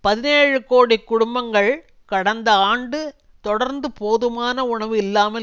பதினேழு கோடி குடும்பங்கள் கடந்த ஆண்டு தொடர்ந்து போதுமான உணவு இல்லாமல்